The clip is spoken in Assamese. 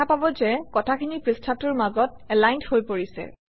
দেখা পাব যে কথাখিনি পৃষ্ঠাটোৰ মাজত এলাইনড হৈ পৰিছে